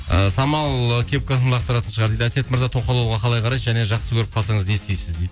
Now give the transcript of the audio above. і самал кепкасын лақтыратын шығар дейді әсет мырза тоқал алуға қалай қарайсыз және жақсы көріп қалсаңыз не істейсіз